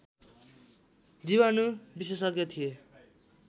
जीवाणु विशेषज्ञ थिए